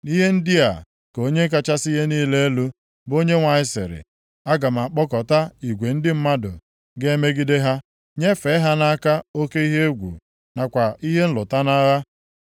“Ihe ndị a ka Onye kachasị ihe niile elu, bụ Onyenwe anyị sịrị, aga m akpọkọta igwe ndị mmadụ ga-emegide ha, nyefee ha nʼaka oke ihe egwu, nakwa ihe nlụta nʼagha.